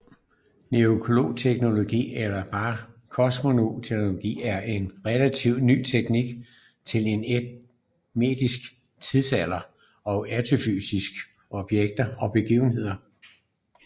Nukleokosmokronologi eller bare kosmokronologi er en relativt ny teknik til at estimere tidsskalaer for astrofysiske objekter og begivenheder